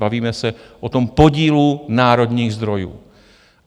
Bavíme se o tom podílu národních zdrojů.